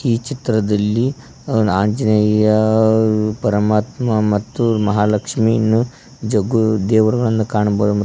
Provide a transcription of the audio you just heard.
ಈ ಚಿತ್ರದಲ್ಲಿ ಆಂಜನೇಯ ಪರಮಾತ್ಮ ಮತ್ತು ಮಹಾಲಕ್ಷ್ಮಿ ನು ಜಗ್ಗು ದೇವರಗಳನ್ನು ಕಾಣಬ--